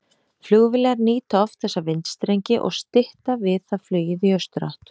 Flugvélar nýta oft þessa vindstrengi og stytta við það flugið í austurátt.